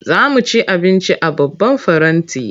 Za mu ci abinci a babban faranti.